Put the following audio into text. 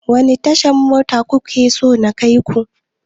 Wani tashar mota kuke so na kai ku?